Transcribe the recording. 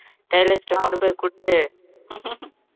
tailors அ கொண்டு போய் கொடுத்து